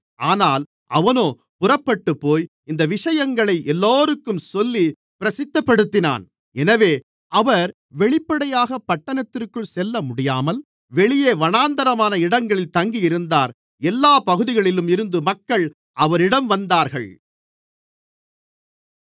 ஆனால் அவனோ புறப்பட்டுப்போய் இந்த விஷயங்களை எல்லோருக்கும் சொல்லிப் பிரசித்தப்படுத்தினான் எனவே அவர் வெளிப்படையாகப் பட்டணத்திற்குள் செல்லமுடியாமல் வெளியே வனாந்திரமான இடங்களில் தங்கியிருந்தார் எல்லாப் பகுதிகளிலும் இருந்து மக்கள் அவரிடம் வந்தார்கள்